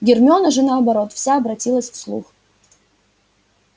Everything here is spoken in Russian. гермиона же наоборот вся обратилась в слух